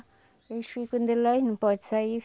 Eles ficam de lá e não pode sair.